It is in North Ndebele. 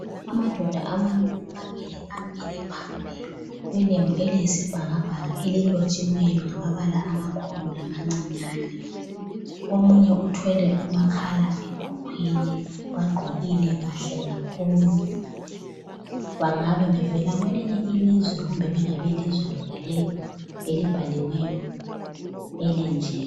Amadoda amabili amabili amile phambili kwelembu eliyisibhakabhaka elilotshiweyo ngamabala amakhulu lamancinyane. Omunye uthwele umakhala ekhukhwini bagqokile kahle kakhulu bangabe bevela kwelinye ilizwe kumbe bengabelizwe lonalelo elibhaliweyo elenjini.